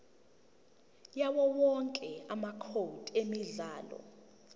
yawowonke amacode emidlalo